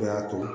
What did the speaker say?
O de y'a to